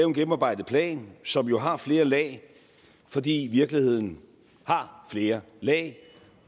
en gennemarbejdet plan som jo har flere lag fordi virkeligheden har flere lag